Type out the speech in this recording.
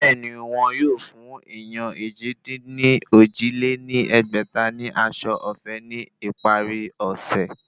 Bẹ́ẹ̀ni, wọ́n yóò fún èèyàn èjì-dín-ní-ojì lé ní ẹgbẹ́ta ní aṣọ ọ̀fẹ́ ní ìparí ọ̀sẹ̀